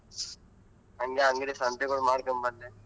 ಹಂಗೆ ಅಂಗಡಿ ಸಂತಿಗ್ ಹೋಗಿ ಮಾಡ್ಕೊಂಡ್ ಬಂದೆ.